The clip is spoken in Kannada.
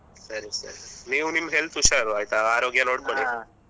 ಸರಿ ಸರಿ ನೀವು ನಿಮ್ health ಹುಷಾರು ಆಯ್ತಾ ಆರೋಗ್ಯ ನೋಡಿಕೊಳ್ಳಿ.